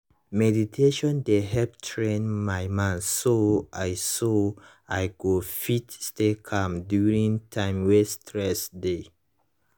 meditation dey help train my mind so i so i go fit stay calm during time wey stress dey